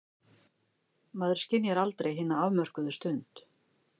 Maður skynjar aldrei hina afmörkuðu stund.